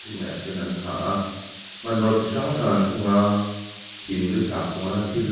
a hnuaiah a sen an ha a hmanraw chi hrang hrang an keng a hindu sakhua na thil a--